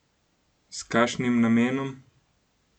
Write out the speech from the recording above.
S kakšnim namenom?